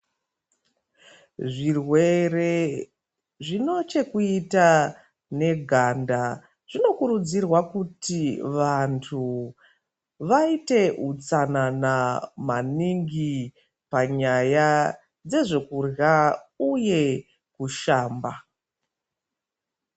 Zvirwere zvine chekuita neganda zvinokurudzirwa kuti vanhu vaite utsanana maningi panyaya dzezvekurya uye kushamba.